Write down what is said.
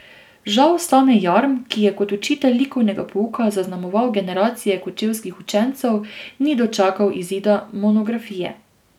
Žal Stane Jarm, ki je kot učitelj likovnega pouka zaznamoval generacije kočevskih učencev, ni dočakal izida monografije.